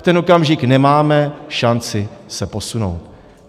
V ten okamžik nemáme šanci se posunout.